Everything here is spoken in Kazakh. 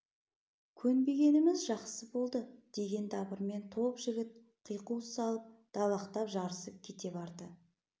көнбегеніміз жақсы болды деген дабырмен топ жігіт қиқу салып далақтап жарысып кете барды